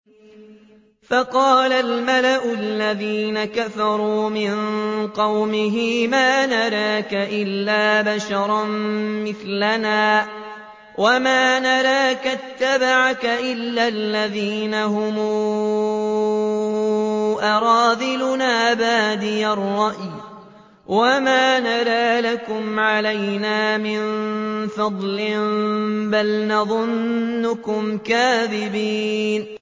فَقَالَ الْمَلَأُ الَّذِينَ كَفَرُوا مِن قَوْمِهِ مَا نَرَاكَ إِلَّا بَشَرًا مِّثْلَنَا وَمَا نَرَاكَ اتَّبَعَكَ إِلَّا الَّذِينَ هُمْ أَرَاذِلُنَا بَادِيَ الرَّأْيِ وَمَا نَرَىٰ لَكُمْ عَلَيْنَا مِن فَضْلٍ بَلْ نَظُنُّكُمْ كَاذِبِينَ